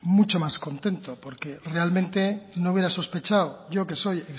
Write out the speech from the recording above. mucho más contento porque realmente no hubiera sospechado yo que soy